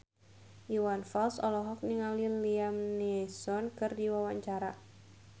Iwan Fals olohok ningali Liam Neeson keur diwawancara